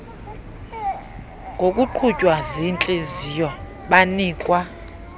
ngokuqhutywa ziintliziyo banikwa